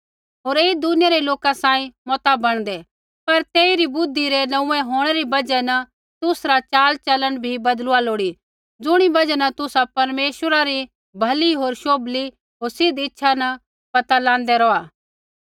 होर ऐई दुनिया रै लोका सांही मता बणदै पर तेसरी बुद्धि रै नोंऊँऐं होंणै री बजहा न तुसरा चालचलन भी बदलुआ लोड़ी ज़ुणी बजहा न तुसा परमेश्वरै री भली होर शोभली होर सिद्ध इच्छा न पता लांदै रौहा